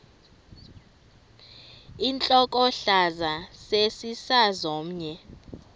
intlokohlaza sesisaz omny